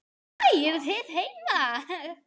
Nei, hæ, eruð þið heima!